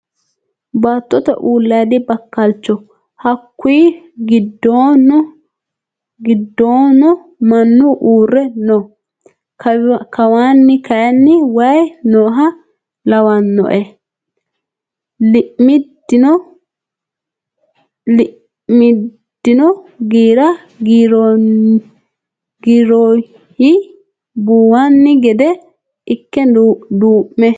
Baattote uulayiidi bakkalchoho. Hakkuyi giddono mannu uurre no. Kawaanni kayii wayii nooha lawannoe. Iimidino giira giirroyi buwani gede ikke duu'mino.